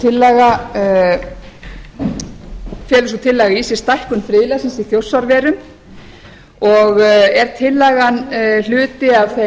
fjögur og felur sú tillaga í sér stækkun friðlandsins í þjórsárverum og er tillagan hluti af þeim